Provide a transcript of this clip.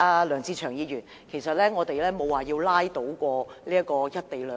梁志祥議員，我們沒有說過要拉倒"一地兩檢"。